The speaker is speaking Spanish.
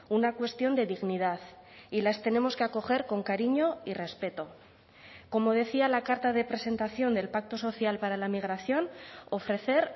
una cuestión de dignidad y las tenemos que acoger con cariño y respeto como decía la carta de presentación del pacto social para la migración ofrecer